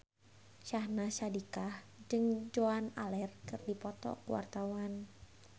Syahnaz Sadiqah jeung Joan Allen keur dipoto ku wartawan